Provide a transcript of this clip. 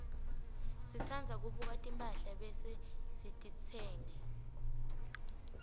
sitsandza kubuka timphahla bese sititsenga